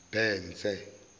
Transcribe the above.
mbhense